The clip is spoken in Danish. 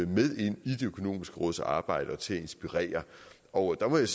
med ind i de økonomiske råds arbejde og til at inspirere og der må jeg